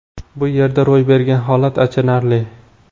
Bu yerda ro‘y bergan holat achinarli.